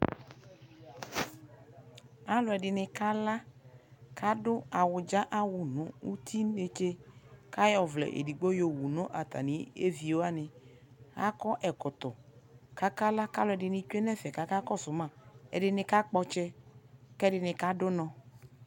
alʋɛdini kala kʋ adʋ awʋ dza awʋ nʋ ʋti nɛkyɛ kʋ ayɔ ʋvlɛ ɛdigbɔ yɔwʋ nʋ atani ɛvi wani, akɔ ɛkɔtɔ kʋ akala kʋalʋɛdini twɛ nʋ ɛƒɛ kʋ aka kɔsʋ ma, ɛdini ka kpɔ ɔtsɛ kɛɛdini kadʋ ʋnɔ